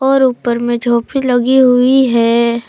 और ऊपर में झोपड़ी लगी हुई है।